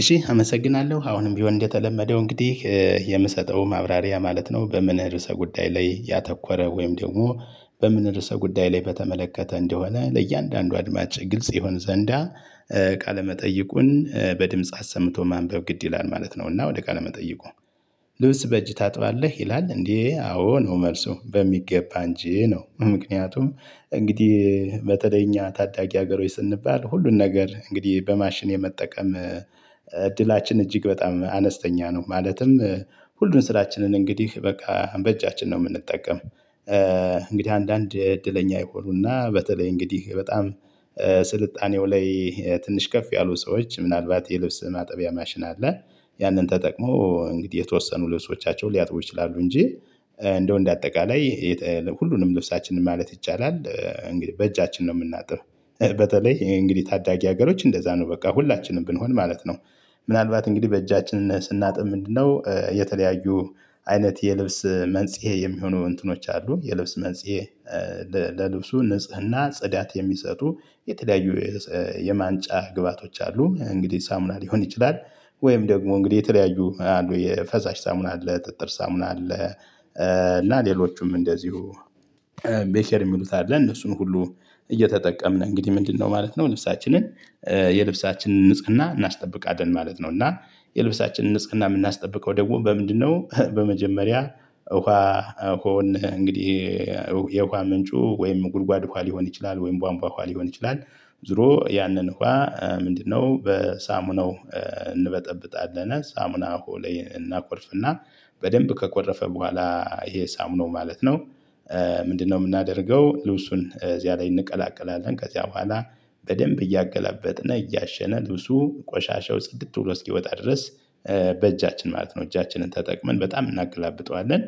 እሺ አመሰግናለሁ አሁንም ቢሆን እንደተለመደው እንግዲህ የምሰጠው ማብራሪያ ማለት ነው። በምን ርዕሰ ጉዳይ ላይ ያተኮረ ወይም ደግሞ በምን ርዕሰ ጉዳይ ላይ በተመለከተ እንደሆነ ለእያንዳንዱ አድማጭ ግልጽ ይሆን ዘንዳ ቃለ መጠይቁን በድምጽ አሰምቶ ማንበብ ግድ ይላል ማለት ነው። እና ወደ ቃለ መጠይቁ። ልብስ በእጅ ታጥባለህ ይላል እንዴ? አዎ ነው መልሱ በሚገባ እንጂ ነው። ምክንያቱም እንግዲህ በተለይ እኛ ታዳጊ ሀገሮች ስንባል ሁሉን ነገር እንግዲህ በማሽን የመጠቀም እድላችን እጅግ በጣም አነስተኛ ነው። ማለትም ሁሉን ስራችንን እንግዲህ በቃ በእጃችን ነው የምንጠቀም። እንግዲህ አንዳንድ እድለኛ የሆኑና በተለይ እንግዲህ በጣም ስልጣኔው ላይ ትንሽ ከፍ ያሉ ሰዎች ምናልባት የልብስ ማጠቢያ ማሽን አለ። ያንን ተጠቅሞ እንግዲህ የተወሰኑ ልብሶቻቸውን ሊያጥቡ ይችላሉ እንጂ። እንደው እንደ አጠቃላይ ሁሉንም ልብሳችንን ማለት ይቻላል እንግዲህ በእጃችን ነው የምናጥብ። በተለይ እንግዲህ ታዳጊ ሀገሮች እንደዛ ነው በቃ ሁላችንም ብንሆን ማለት ነው። ምናልባት እንግዲህ በእጃችን ስናጥብ ምንድነው የተለያዩ አይነት የልብስ መንጽሄ የሚሆኑ እንትኖች አሉ። የልብስ መንጽሄ ለልብሱ ንጽህና ጽዳት የሚሰጡ የተለያዩ የማንጫ ግብአቶች አሉ እንግዲህ ሳሙና ሊሆን ይችላል። ወይም ደግሞ እንግዲህ የተለያዩ የፈሳሽ ሳሙና አለ ጥጥር ሳሙና አለ። እና ሌሎቹም እንደዚሁ ቤኬር የሚሉት አለ እነሱን ሁሉ እየተጠቀምን እንግዲህ ምንድነው ማለት ነው? ልብሳችንን የልብሳችንን ንጽህና እናስጠብቃለን ማለት ነው። እና የልብሳችንን ንጽህና የምናስጠብቀው ደግሞ በምንድነው? በመጀመሪያ ውሃ ውሃውን እንግዲህ የውሃ ምንጩ ወይም ጉድጓድ ውሃ ሊሆን ይችላል። ወይም ቧንቧ ውሃ ሊሆን ይችላል። ዞሮ ያንን ውሃ ምንድነው በሳሙናው እንበጠብጣለን ሳሙና ውሃው እናኮርፍና በደንብ ከኮረፈ በኋላ ይሄ ሳሙናው ማለት ነው። ምንድነው የምናደርገው ልብሱን እዚያ ላይ እንቀላቅላለን። ከዚያ በኋላ በደንብ እያገላበጥን እያሸን ልብሱ ቆሻሻው ጽድት ብሎ እስኪወጣ ድረስ። በእጃችን ማለት ነው እጃችንን ተጠቅመን በጣም እናገላብጠዋለን።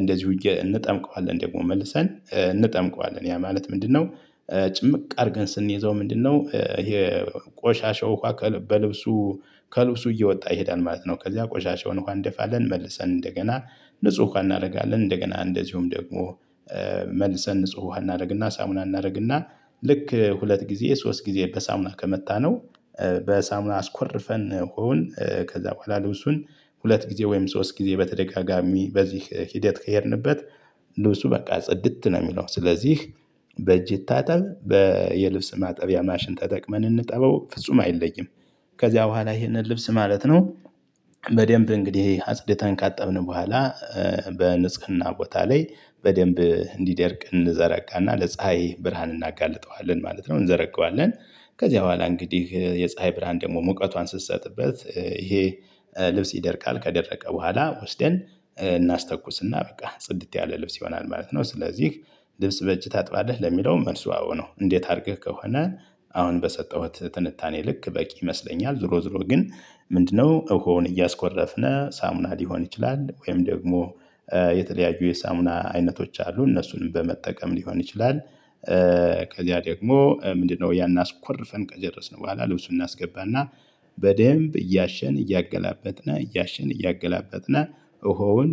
እንደዚሁ እንጠምቀዋለን ደግሞ መልሰን እንጠምቀዋለን ያ ማለት ምንድነው? ጭምቅ አድርገን ስንይዘው ምንድነው ይሄ? ቆሻሻው ውሃ በልብሱ ከልብሱ እየወጣ ይሄዳል ማለት ነው። ከዛ ቆሻሻውን ውሃ እንደፋለን መልሰን እንደገና ንጹህ ውሃ እናደርጋለን። እንደገና እንደዚሁም ደግሞ። መልሰን ንጹህ እናደርግና ሳሙና እናደርግና ልክ ሁለት ጊዜ ሶስት ጊዜ በሳሙና ከመታነው። በሳሙና አስኮርፈን ውሃውን ከዛ በኋላ ልብሱን ሁለት ጊዜ ወይም ሶስት ጊዜ በተደጋጋሚ በዚህ ሂደት ከሄድንበት። ልብሱ በቃ ጽድት ነው። የሚለው ስለዚህ በእጅ ይታጠብ። የልብስ ማጠቢያ ማሽን ተጠቅመን እንጠበው ፍጹም አይለይም። ከዚያ በኋላ ይሄንን ልብስ ማለት ነው። በደንብ እንግዲህ አጽድታን ካጠብን በኋላ በንጽህና ቦታ ላይ በደንብ እንዲደርቅ እንዘረጋና ለፀሀይ ብርሃን እናጋልጠዋለን ማለት ነው። እንዘረጋዋለን ከዚያ በኋላ እንግዲህ የፀሀይ ብርሃን ደግሞ ሙቀቷን ስትሰጥበት ይሄ ልብስ ይደርቃል ከደረቀ በኋላ ወስደን እናስተኩስና በቃ ጽድት ያለ ልብስ ይሆናል ማለት ነው። ስለዚህ ልብስ በእጅ ታጥባለህ ለሚለው መልሱ አዎ ነው። እንዴት አድርገህ ከሆነ አሁን በሰጠሁት ትንታኔ ልክ በቂ ይመስለኛል። ዞሮ ዞሮ ግን ምንድነው? ውሃውን እያስኮረፍን ሳሙና ሊሆን ይችላል ወይም ደግሞ የተለያዩ የሳሙና አይነቶች አሉ እነሱንም በመጠቀም ሊሆን ይችላል። ከዚያ ደግሞ ምንድነው ያን አስኮርፈን ከጨረስን በኋላ ልብሱን እናስገባና። በደንብ እያሸን እያገላበጥን እያሸን እያገላበጥን ውሃውን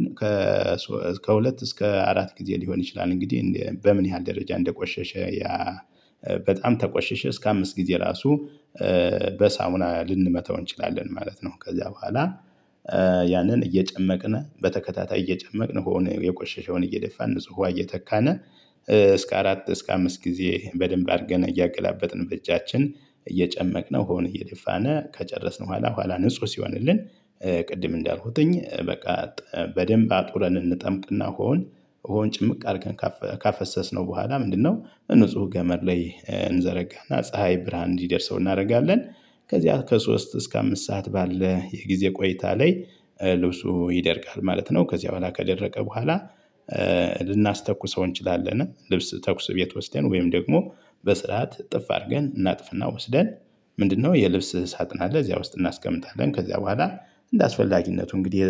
ከሁለት እስከ አራት ጊዜ ሊሆን ይችላል። እንግዲህ በምን ያህል ደረጃ እንደቆሸሸ ያ። በጣም ተቆሸሸ እስከ አምስት ጊዜ ራሱ። በሳሙና ልንመታው እንችላለን ማለት ነው። ከዛ በኋላ። ያንን እየጨመቅን በተከታታይ እየጨመቅን ውሃውን የቆሸሸውን እየደፋን ንጹህ ውሃ እየተካን። እስከ አራት እስከ አምስት ጊዜ በደንብ አድርገን እያገላበጥን በእጃችን እየጨመቅነው ውሃውን እየደፋን ከጨረስን በኋላ በኋላ ንጹህ ሲሆንልን። ቅድም እንዳልኩትኝ በቃ። በደንብ አጡረን እንጠምቅና ውሃውን ውሃውን ጭምቅ አድርገን። ካፈሰስነው በኋላ ምንድነው ንጹህ ገመድ ላይ እንዘረጋና ፀሀይ ብርሃን እንዲደርሰው እናደርጋለን። ከዚያ ከሶስት እስከ አምስት ሰዓት ባለ የጊዜ ቆይታ ላይ ልብሱ ይደርቃል ማለት ነው። ከዚያ በኋላ ከደረቀ በኋላ። እንችላለን ልብስ ተኩስ ቤት ወስደን ወይም ደግሞ በስርዓት እጥፍ አድርገን እናጥፍና ወስደን። ምንድነው የልብስ ሳጥን አለ እዚያ ውስጥ እናስቀምጣለን ከዚያ በኋላ። እንደ አስፈላጊነቱ እንግዲህ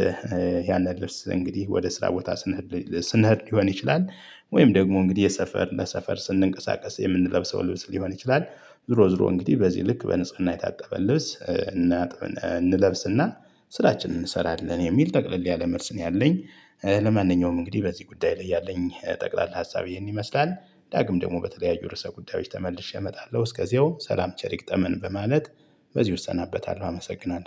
ያንን ልብስ እንግዲህ ወደ ስራ ቦታ ስንሄድ ስንሄድ ሊሆን ይችላል። ወይም ደግሞ እንግዲህ የሰፈር ለሰፈር ስንቀሳቀስ የምንለብሰው ልብስ ሊሆን ይችላል። ዞሮ ዞሮ እንግዲህ በዚህ ልክ በንጽህና የታጠበ ልብስ እናጥብ እንለብስና። ስራችንን እንሰራለን የሚል ጠቅለል ያለ መልስ ነው ያለኝ። ለማንኛውም እንግዲህ በዚህ ጉዳይ ላይ ያለኝ ጠቅላላ ሀሳብ ይሄን ይመስላል። ዳግም ደግሞ በተለያዩ ርዕሰ ጉዳዮች ተመልሼ እመጣለሁ እስከዚያው ሰላም ቸር ይግጠመን በማለት በዚህ እሰናበታለሁ አመሰግናለሁ